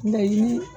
Mɛɲini